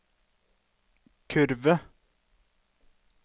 kurve